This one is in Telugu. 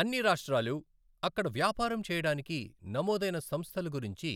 అన్ని రాష్ట్రాలు అక్కడ వ్యాపారం చేయడానికి నమోదైన సంస్థల గురించి